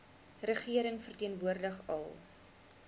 regering verteenwoordig al